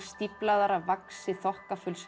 stíflaðar af vaxi